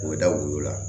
U bɛ da u la